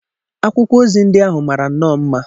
akwụkwọ ozi ndị ahụ mara nnọọ mma.